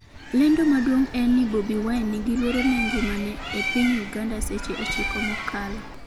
lendo maduong' en ni Bobi Wine 'ni gi luoro ne ngimane' e piny Uganda seche 9 mokalo